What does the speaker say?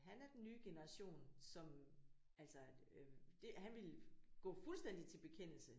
Han er den nye generation som altså øh det han ville gå fuldstændig til bekendelse